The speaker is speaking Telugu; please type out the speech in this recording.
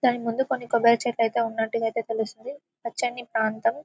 టైముంది కొన్ని కొబ్బరి చెట్లైతే ఉన్నట్టుగా ఐతే తెలుస్తుంది పచ్చని ప్రాంతం--